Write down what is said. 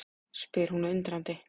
spyr hún undrandi.